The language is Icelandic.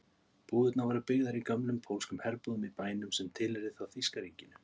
Búðirnar voru byggðar í gömlum pólskum herbúðum í bænum sem tilheyrði þá þýska ríkinu.